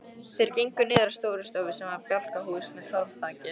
Þeir gengu niður að Stórustofu sem var bjálkahús með torfþaki.